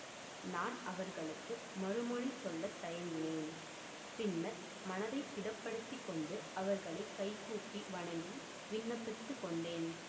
நான் அவர்களுக்கு மறுமொழி சொல்ல தயங்கினேன் பின்னர் மனத்தை திடப்படுத்திக் கொண்டு அவர்களை கைகூப்பி வணங்கி விண்ணப்பித்துக் கொண்டேன்